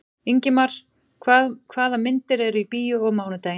Ingimar, hvaða myndir eru í bíó á mánudaginn?